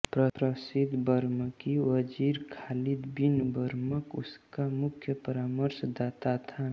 प्रसिद्ध बरमकी वज़ीर खालिद बिन बरमक उसका मुख्य परामर्शदाता था